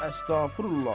Əstağfurullah.